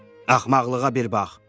Axmaqlığa bir bax!